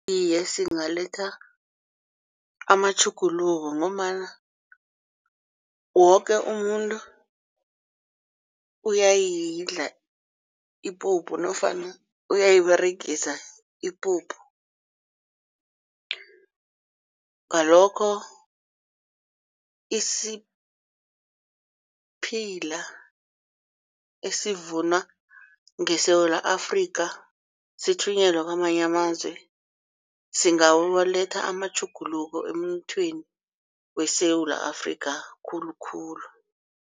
Iye, singaletha amatjhuguluko ngombana woke umuntu uyayidla ipuphu nofana uyayiberegisa ipuphu. Ngalokho isiphila esivunwa ngeSewula Afrika sithunyelwe kwamanye amazwe singawaletha amatjhuguluko emnothweni weSewula Afrika khulukhulu.